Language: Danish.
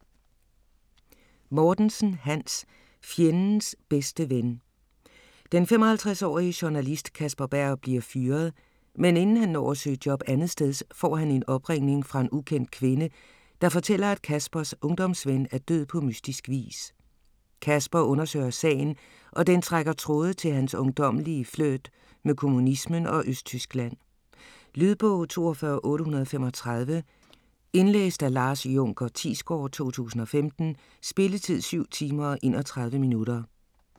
Mortensen, Hans: Fjendens bedste ven Den 55-årige journalist Kasper Berg bliver fyret, men inden han når at søge job andetsteds får han en opringning fra en ukendt kvinde, der fortæller at Kaspers ungdomsven er død på mystisk vis. Kasper undersøger sagen og den trækker tråde til hans ungdommelige flirt med kommunismen og Østtyskland. Lydbog 42835 Indlæst af Lars Junker Thiesgaard, 2015. Spilletid: 7 timer, 31 minutter.